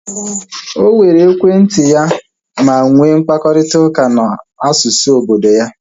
O were ekwentị ya ma nwee mkparịta ụka na asụsụ obodo ya